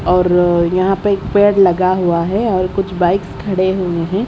और र यहां पे एक पेड़ लगा हुआ है और कुछ बाइक्स खड़े हुए हैं।